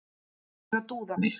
Þarf ég að dúða mig?